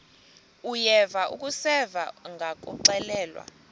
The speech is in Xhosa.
uyeva akuseva ngakuxelelwa